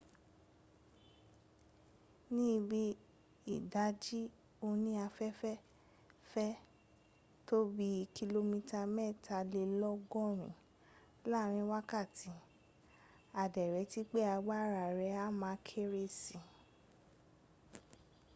ní bí i ìdájí òní àfẹ́fẹ́ fẹ́ tó bí kìlómítà mẹ́tàlélọ́gọ́rin láàrin wákàtí a dẹ̀ retí pé agbára ẹ̀ á ma kéré sí